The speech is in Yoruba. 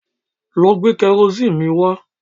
Lọ gbé kẹrosíìnì mi wá